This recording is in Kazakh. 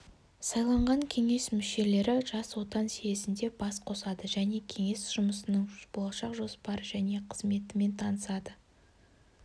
сайланған кеңес мүшелері жас отан съезінде бас қосады және кеңес жұмысының болашақ жоспары және қызметімен танысады